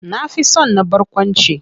Na fi son na barkwanci.